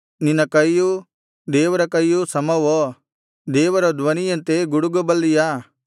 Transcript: ನಿನ್ನ ಕೈಯೂ ದೇವರ ಕೈಯೂ ಸಮವೋ ದೇವರ ಧ್ವನಿಯಂತೆ ಗುಡುಗಬಲ್ಲಿಯಾ